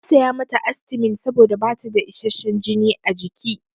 Na saya mata astimin saboda bata da isasshen jini a jiki.